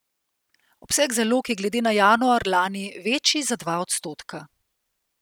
Obseg zalog je glede na januar lani večji za dva odstotka.